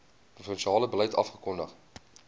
provinsiale beleid afgekondig